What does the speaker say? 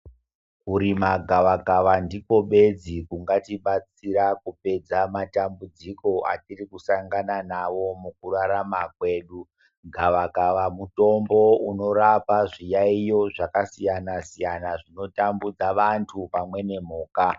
Kurima gavakava ndiko bedzi kungatibatsira kupedza matambudziko atirikusangana nawo mukurarama kwedu, gavakava mutombo unorapa zviyayiyo zvakasiyana siyana zvinotambudza vantu pamwene mhuka.